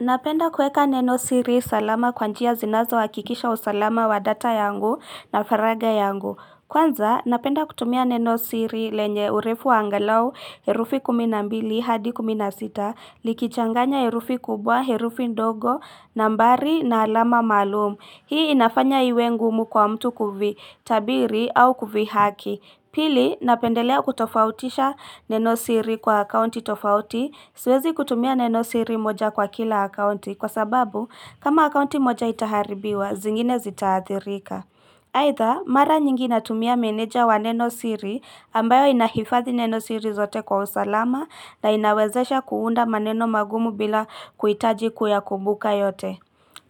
Napenda kueka neno siri salama kwanjia zinazo hakikisha usalama wa data yangu na faraga yangu. Kwanza, napenda kutumia neno siri lenye urefu wa angalau, herufi kuminambili hadi kuminasita, nikichanganya herufi kubwa, herufi ndogo, nambari na alama maalum. Hii inafanya iwe ngumu kwa mtu kuvitabiri au kuvihaki. Pili, napendelea kutofautisha neno siri kwa akaunti tofauti, siwezi kutumia neno siri moja kwa kila akaunti kwa sababu kama akaunti moja itaharibiwa, zingine zitaathirika. Aidha, mara nyingi natumia meneja wa neno siri ambayo inahifadhi neno siri zote kwa usalama na inawezesha kuunda maneno magumu bila kuitaji kuyakumbuka yote.